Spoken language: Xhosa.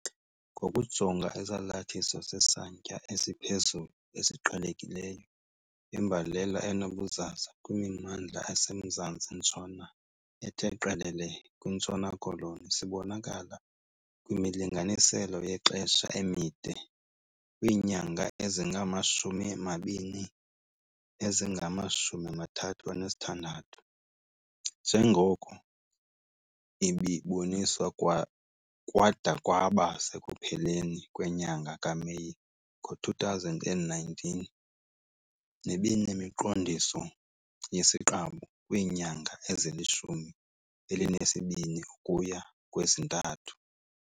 Ngokujonga isalathiso sesantya esiphezulu esiqhelekileyo, imbalela enobuzaza kwimimandla esemzantsi-ntshona ethe qelele kwiNtshona Koloni sibonakala kwimilinganiselo yexesha emide, kwiinyanga ezingama-20 nezingama-36, njengoko ibiboniswa kwada kwaba sekupheleni kwenyanga kaMeyi ngo-2019, nebinemiqondiso yesiqabu kwiinyanga ezilishumi elinesibini ukuya kwezintathu.